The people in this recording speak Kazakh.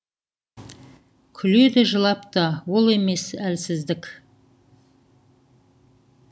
күледі жылап та ол емес әлсіздік